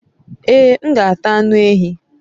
Ee, m g'ata anu ehi